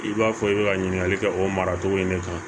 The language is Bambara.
I b'a fɔ i bɛ ka ɲininkali kɛ o maracogo in de kan